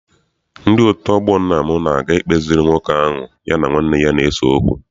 Ndị otu ọgbọ nna m na-aga ikpeziri nwoke ahụ ya na nwanne ya na-ese okwu.